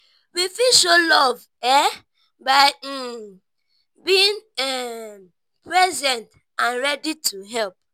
we fit show love um by um being um present and ready to help